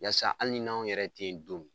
Yasa hali ni n'anw yɛrɛ tɛ ye don mi